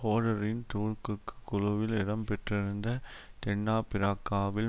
ஹோடரின் தூக்குக்குழுவில் இடம் பெற்றிருந்த தென்னாபிரக்காவில்